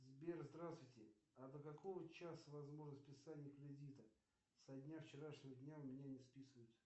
сбер здравствуйте а до какого часа возможно списание кредита со дня вчерашнего дня у меня не списывают